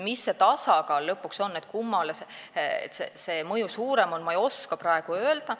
Mis see tasakaal lõpuks on, kummale see mõju suurem on, ei oska ma praegu öelda.